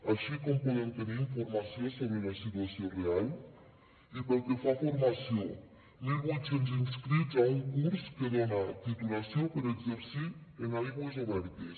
així com podem tenir informació sobre la situació real i pel que fa a formació mil vuit cents inscrits a un curs que dona titulació per exercir en aigües obertes